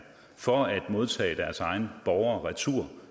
for at modtage deres egne borgere retur